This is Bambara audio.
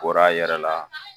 Bɔr'a yɛrɛ la